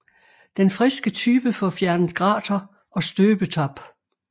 Den friske type får fjernet grater og støbetap